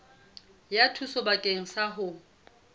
ya thuso bakeng sa ho